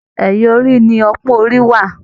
Ẹyà orí ni ọpọn orí wà.